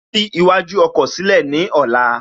Ṣí iwájú ọkọ̀ sílẹ̀ ní ọ̀la